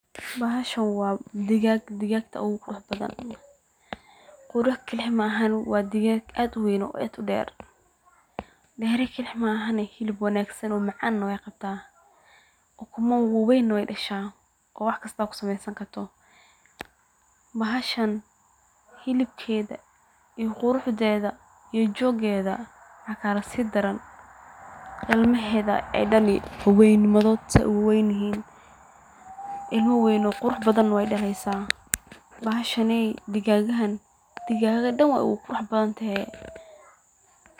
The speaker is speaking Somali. Bahashan wa digaag wana digaaga ugu qurux badan qurux kaliya maahane wa digaag uguwen weni kaliya maahane hilib wanagsan oo macan iyo ukumo macan ayey qabta iyo ilmo wawen ey daliya qurux doda ilmo wawen aye dali bahashan digaagaha wey kaduwante.